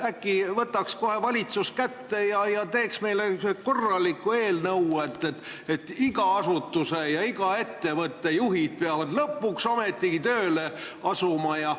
Äkki võtaks valitsus kätte ja teeks meile korraliku eelnõu, et iga asutuse, iga ettevõtte juhid peavad lõpuks ometigi tööle asuma?